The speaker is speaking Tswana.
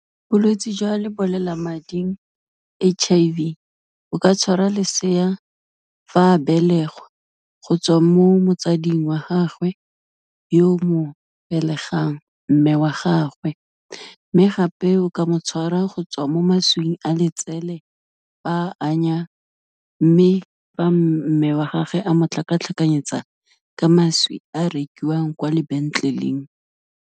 Bolwetsi jwa lebolelamading H_I_V, o ka tshwara lesea fa a belegwa, go tswa mo motsading wa gagwe, yo o mo belegang mme wa gagwe. Mme gape o ka mo tshwara go tswa mo mašwing a letsele fa anya, mme fa mme wa gagwe a motlhakatlhakanyetsa ka mašwi a rekiwang kwa lebenkeleng.